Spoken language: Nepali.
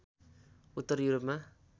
उत्तर युरोपमा